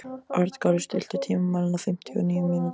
Arngarður, stilltu tímamælinn á fimmtíu og níu mínútur.